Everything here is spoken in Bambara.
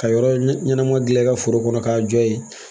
Ka yɔrɔ ɲɛnama dilan i ka foro kɔnɔ k'a jɔ ye